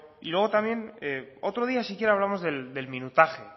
y luego también otro día si quiere hablamos del minutaje